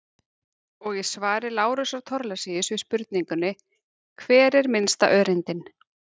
Og í svari Lárusar Thorlacius við spurningunni Hver er minnsta öreindin?